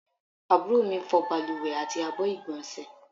Àbúrò mi fọ́ baluwe àti àbọ̀ igbonse